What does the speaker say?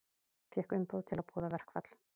Fékk umboð til að boða verkfall